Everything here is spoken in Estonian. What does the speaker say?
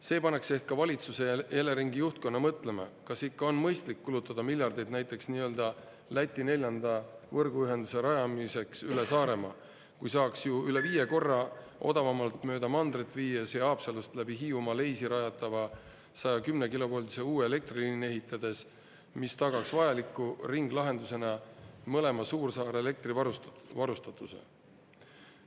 See paneks ehk ka valitsuse ja Eleringi juhtkonna mõtlema, kas ikka on mõistlik kulutada miljardeid näiteks nii-öelda Läti neljanda võrguühenduse rajamiseks üle Saaremaa, kui saaks ju üle viie korra odavamalt mööda mandrit viia see Haapsalust läbi Hiiumaa Leisi rajatava 110-kilovoldise uue elektri…… ehitades, mis tagaks vajaliku ringlahendusena mõlema suursaare elektrivarustatuse.